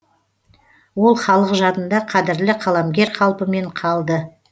ол халық жадында қадірлі қаламгер қалпымен қалды